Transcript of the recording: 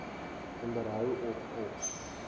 onderhou of op